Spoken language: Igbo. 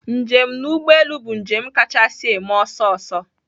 Njem n'ụgbọelụ bụ njem kachasị eme ọsọ ọsọ